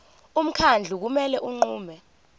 umkhandlu kumele unqume